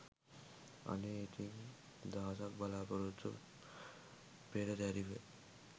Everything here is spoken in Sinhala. අනේ ඉතිං දහසක් බලාපොරොත්තු පෙරදැරිව